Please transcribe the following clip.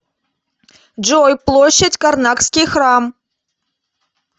джой площадь карнакский храм